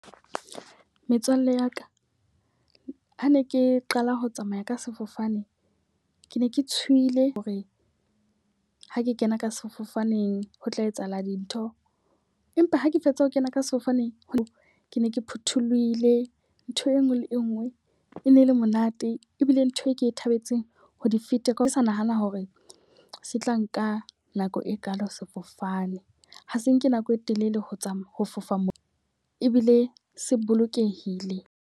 Metswalle ya ka, ha ne ke qala ho tsamaya ka sefofane. Ke ne ke tshohile hore ha ke kena ka sefofaneng ho tla etsahala dintho. Empa ha ke fetsa ho kena ka sefofane, ho ke ne ke phuthulohile. Ntho enngwe le enngwe e ne le monate ebile ntho e ke e thabetseng ho di fete ka ha ke sa nahana hore se tla nka nako e kalo sefofane. Ha se nke nako e telele ho tsamaya, ho fofa mo ebile se bolokehile.